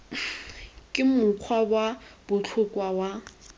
ke mokgwa wa botlhokwa wa